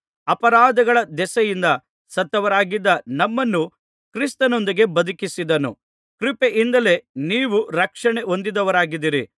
ಅಪರಾಧಗಳ ದೆಸೆಯಿಂದ ಸತ್ತವರಾಗಿದ್ದ ನಮ್ಮನ್ನು ಕ್ರಿಸ್ತನೊಂದಿಗೆ ಬದುಕಿಸಿದನು ಕೃಪೆಯಿಂದಲೇ ನೀವು ರಕ್ಷಣೆ ಹೊಂದಿದವರಾಗಿದ್ದೀರಿ